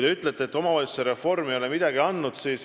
Te ütlete, et omavalitsusreform ei ole midagi andnud.